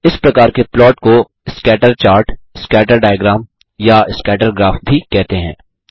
इस प्रकार के प्लॉट को स्कैटर चार्ट स्कैटर डायग्राम या स्कैटर ग्राफ भी कहते हैं